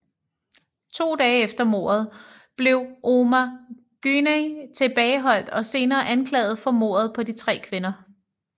To dage efter mordet blev Ömer Güney tilbageholdt og senere anklaget for mordet på de tre kvinder